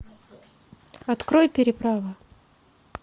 открой переправа